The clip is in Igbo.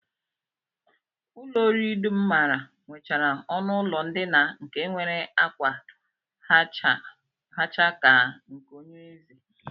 Ụlọ oriri dum m maara nwechara ọnụụlọ ndina nke nwere ákwa hacha ka nke onyeeze